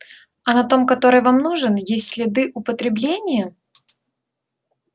а на том который вам нужен есть следы употребления